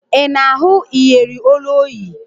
Ị na-ahụ iyeri olu o yi?